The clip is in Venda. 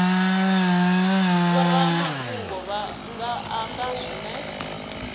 vhoramafhungo vha nga amba zwine